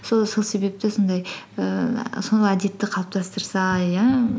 сол себепті сондай ііі сол әдетті қалыптастырса иә